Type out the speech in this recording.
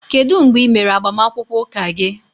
Kedu mgbe ị mere agbamakwụkwọ Ụka gị